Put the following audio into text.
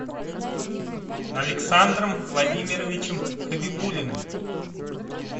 александром владимировичем хабибуллиным